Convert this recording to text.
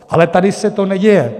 Ale tady se to neděje.